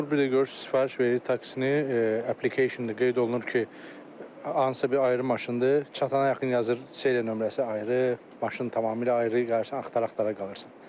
Olur bir də görürsüz sifariş veririk taksini, application-da qeyd olunur ki, hansısa bir ayrı maşındır, çatana yaxın yazır seriya nömrəsi ayrı, maşın tamamilə ayrı, qalısan axtara-axtara qalısan.